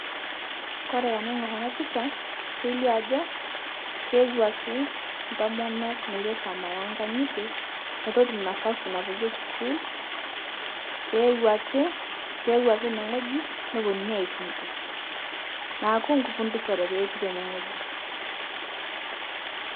Kore tanaing'or ana picha kelio ajo keewaki ntomonok netu eisoma eenkang'ite, netu eitum nafasi napoiyie skul, keewaki, keewaki eneng'oji neponuni aipudus, naaku kupudusore taa etii tene ng'oji.